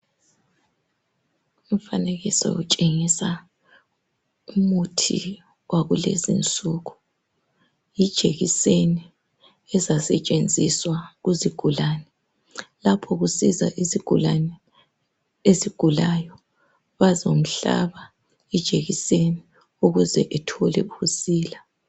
Lumfanekiso utshengisa umuthi wakulezinsuku ijekiseni ezasetshenziswa kuzigulani lapho kusiza isigulane esigulayo bazomhlaba ijekiseni ukuze uthole ukusila.